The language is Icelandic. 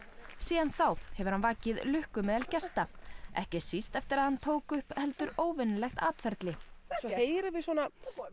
síðan þá hefur hann vakið lukku meðal gesta ekki síst eftir að hann tók upp heldur óvenjulegt atferli þá heyrum við svona